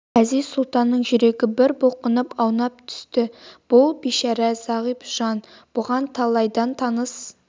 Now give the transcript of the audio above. әзиз-сұлтанның жүрегі бір бұлқынып аунап түсті бұл бейшара зағип жан бұған талайдан таныс